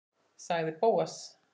sagði Bóas.